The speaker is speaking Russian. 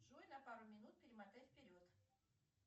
джой на пару минут перемотай вперед